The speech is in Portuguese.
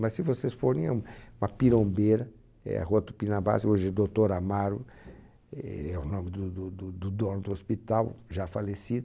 Mas se vocês forem, é um uma pirombeira, é a rua Tupinambás, e hoje é Doutor Amaro, é o nome do do do do dono do hospital, já falecido.